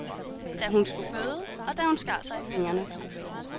Da hun skulle føde, og da hun skar sig i fingrene.